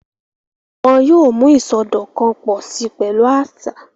Wọn yoo mu isọdọkan pọ si pẹlu aṣa.